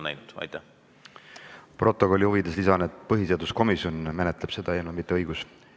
Stenogrammi huvides lisan, et põhiseaduskomisjon menetleb seda eelnõu, mitte õiguskomisjon.